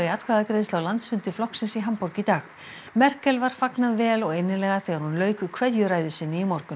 atkvæðagreiðslu á landsfundi flokksins í Hamborg í dag Merkel var fagnað vel og innilega þegar hún lauk kveðjuræðu sinni í morgun